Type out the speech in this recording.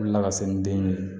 Wuli ka se ni den ye